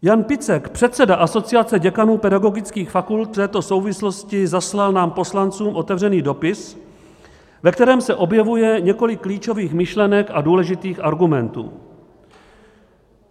Jan Picek, předseda Asociace děkanů pedagogických fakult, v této souvislosti zaslal nám poslancům otevřený dopis, ve kterém se objevuje několik klíčových myšlenek a důležitých argumentů.